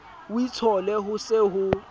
o itshole ho se ho